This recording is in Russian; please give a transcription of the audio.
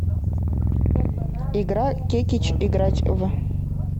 игра кекич играть в